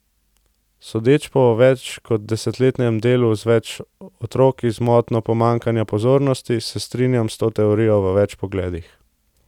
Sodeč po več kot desetletnem delu z več otroki z motnjo pomanjkanja pozornosti, se strinjam s to teorijo v več pogledih.